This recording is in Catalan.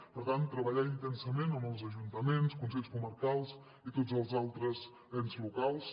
per tant treballar intensament amb els ajuntaments consells comarcals i tots els altres ens locals